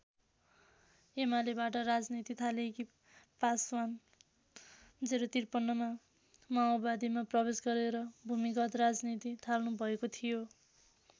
एमालेबाट राजनीति थालेकी पासवान ०५३मा माओवादीमा प्रवेश गरेर भूमिगत राजनीति थाल्नुभएको थियो।